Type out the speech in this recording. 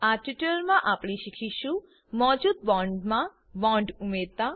આ ટ્યુટોરીયલમાં આપણે શીખીશું મોજુદ બોન્ડમા બોન્ડ ઉમેરતા